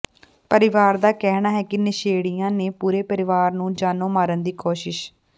ਪਰਿਵਾਰ ਦਾ ਕਹਿਣਾ ਹੈ ਕਿ ਨਸ਼ੇੜੀਆਂ ਨੇ ਪੂਰੇ ਪਰਿਵਾਰ ਨੂੰ ਜਾਨੋਂ ਮਾਰਨ ਦੀ ਕੋਸ਼ਿਸ਼